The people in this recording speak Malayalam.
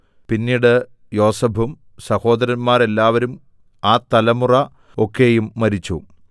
പിന്നീട് യോസേഫും സഹോദരന്മാരെല്ലാവരും ആ തലമുറ ഒക്കെയും മരിച്ചു